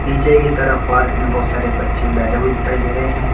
नीचे की तरफ पार्क में बहुत सारे बच्चे बैठे हुए दिखाई दे रहे हैं।